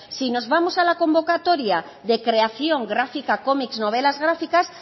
si nos vamos a la convocatoria de creación gráfica comics novelas gráficas